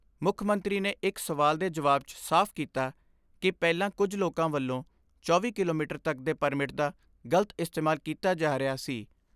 ਮੁੱਖ ਮੰਤਰੀ ਨੇ ਇਕ ਸਵਾਲ ਦੇ ਜਵਾਬ 'ਚ ਸਾਫ਼ ਕੀਤਾ ਕਿ ਪਹਿਲਾਂ ਕੁਝ ਲੋਕਾਂ ਵੱਲੋਂ ਚੌਵੀ ਕਿਲੋਮੀਟਰ ਤੱਕ ਦੇ ਪਰਮਿਟ ਦਾ ਗਲਤ ਇਸਤੇਮਾਲ ਕੀਤਾ ਜਾ ਰਿਹਾ ਸੀ।